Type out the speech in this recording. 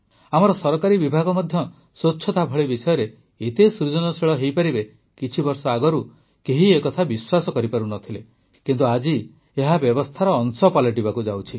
ଆମର ସରକାରୀ ବିଭାଗ ମଧ୍ୟ ସ୍ୱଚ୍ଛତା ଭଳି ବିଷୟରେ ଏତେ ସୃଜନଶୀଳ ହୋଇପାରିବେ କିଛିବର୍ଷ ଆଗରୁ କେହି ଏକଥା ବିଶ୍ୱାସ କରିପାରୁ ନ ଥିଲେ କିନ୍ତୁ ଆଜି ଏହା ବ୍ୟବସ୍ଥାର ଅଂଶ ପାଲଟିବାକୁ ଯାଉଛି